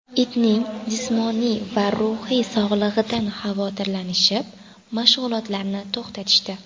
Itning jismoniy va ruhiy sog‘lig‘idan xavotirlanishib mashg‘ulotarni to‘xtatishdi.